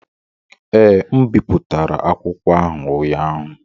Ee, M bipụtara akwụkwọ ahụ ụnyaahụ.